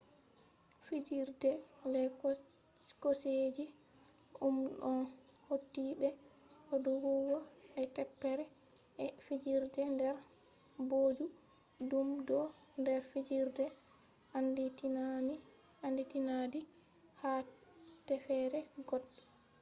fijirde les kooseje ɗum ɗon hauti be doggugo e teppere e fijirde nder booju ɗum do nder fijirde anditinaadi haa teffere goɗɗo